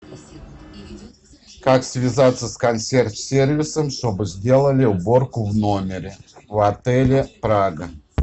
как связаться с консьерж сервисом чтобы сделали уборку в номере в отеле прага